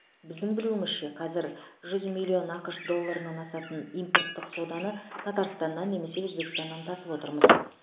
біздің білуімізше қазір жүз миллион ақш долларынан асатын импорттық соданы татарстаннан немесе өзбекстаннан тасып отырмыз